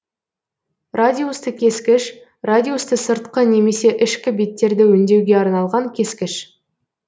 радиусты кескіш радиусты сыртқы немесе ішкі беттерді өндеуге арналған кескіш